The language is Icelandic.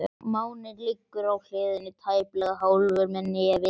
Máninn liggur á hliðinni, tæplega hálfur með nefið upp.